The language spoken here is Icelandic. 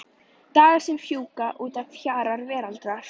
Dagar sem fjúka út að hjara veraldar.